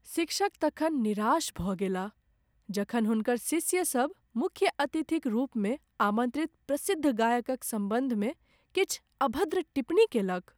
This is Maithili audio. शिक्षक तखन निराश भऽ गेलाह जखन हुनकर शिष्यसभ मुख्य अतिथिक रूपमे आमन्त्रित प्रसिद्ध गायकक सम्बन्धमे किछु अभद्र टिप्पणी केलक।